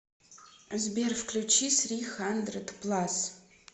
сбер включи сри хандред плас